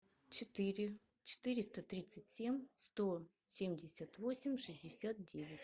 четыре четыреста тридцать семь сто семьдесят восемь шестьдесят девять